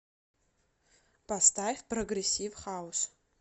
поставь прогрессив хаус